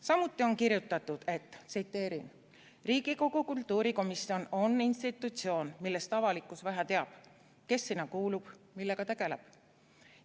" Samuti on kirjutatud: "Riigikogu kultuurikomisjon on institutsioon, millest avalikkus vähe teab: kes sinna kuulub, millega tegeleb jne.